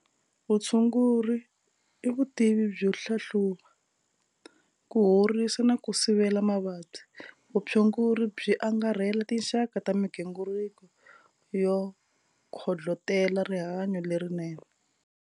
Vutshunguri i vutivi byo hlahluva, ku horisa na ku sivela mavabyi. Vutshunguri byi angarhela tinxaka ta migingiriko yo kondlotela rihanyo lerinene.